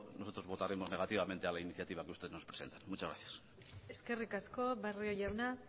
nosotros votaremos negativamente a la iniciativa que ustedes nos presentan muchas gracias eskerrik asko barrio jauna